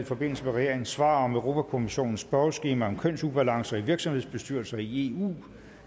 i forbindelse med regeringens svar på europa kommissionens spørgeskema om kønsubalancer i virksomhedsbestyrelser i eu